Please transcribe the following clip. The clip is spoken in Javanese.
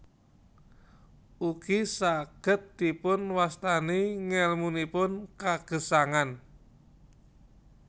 Ugi saged dipunwastani ngèlmunipun kagesangan